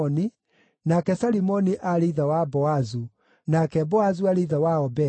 nake Salimoni aarĩ ithe wa Boazu, nake Boazu aarĩ ithe wa Obedi.